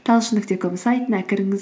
талшын нүкте ком сайтына кіріңіз